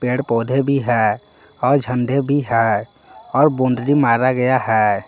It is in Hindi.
पेड़ पौधे भी हैं और झंडे भी हैं और बाउंड्री मारा गया है।